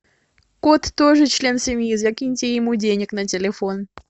кот тоже член семьи закиньте ему денег на телефон